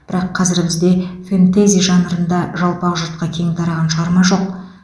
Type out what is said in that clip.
бірақ қазір бізде фэнтези жанрында жалпақ жұртқа кең тараған шығарма жоқ